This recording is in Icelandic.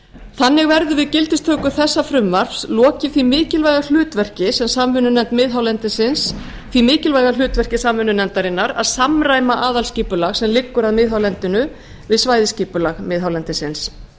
þannig verður við gildistöku þessa frumvarps lokið því mikilvæga hlutverki samvinnunefndarinnar að samræma aðalskipulag sem liggur að miðhálendinu við svæðisskipulag miðhálendisins